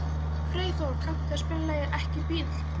Freyþór, kanntu að spila lagið „Ekki bíl“?